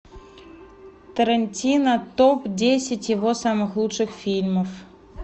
тарантино топ десять его самых лучших фильмов